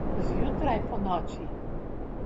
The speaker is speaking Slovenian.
Zjutraj, ponoči?